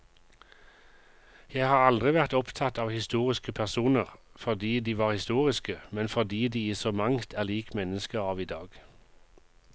Jeg har aldri vært opptatt av historiske personer fordi de var historiske, men fordi de i så mangt er lik mennesker av i dag.